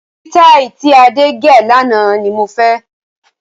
Sitai tí Adé gẹ̀ lànà ni mo fẹ́.